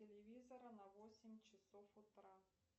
телевизора на восемь часов утра